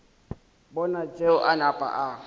bona tšeo a napa a